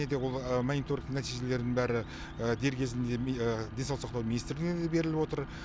және де ол монитронигтің нәтижелері бәрі дер кезінде денсаулық сақтау министрлігіне де беріліп отыр